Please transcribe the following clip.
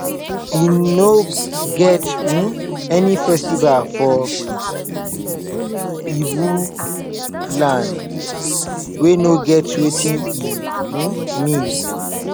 e no get um any festival for ibo land wey no get wetin e um mean